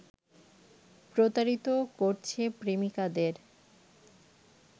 প্রতারিত করছে প্রেমিকাদের।